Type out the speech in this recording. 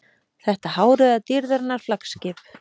Þetta hárauða dýrðarinnar flaggskip.